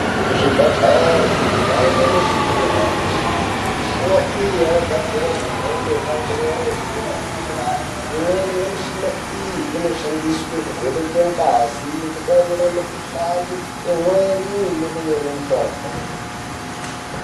Kuzvibhedhlere kwave nemishina yanyasha.... Mishina iyi yakagadzirwa zvemhando yepamusoro yedera-dera. Imweni yemishina iyi inoshandiswe kuvheneke ngazi, kutarire mikhuhlani, imweni nekunyore mitombo.